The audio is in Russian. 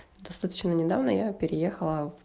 достаточно недавно я переехала